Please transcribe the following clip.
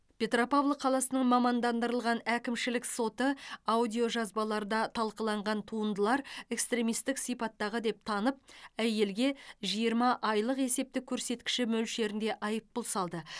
петропавл қаласының мамандандырылған әкімшілік соты аудиожазбаларда талқыланған туындылар экстремистік сипаттағы деп танып әйелге жиырма айлық есептік көрсеткіш мөлшерінде айыппұл салды